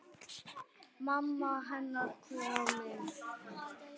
Mamma hennar komin.